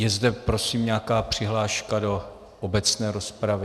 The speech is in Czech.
Je zde prosím nějaká přihláška do obecné rozpravy?